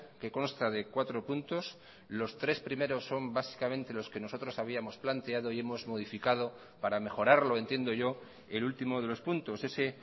que consta de cuatro puntos los tres primeros son básicamente los que nosotros habíamos planteado y hemos modificado para mejorarlo entiendo yo el último de los puntos ese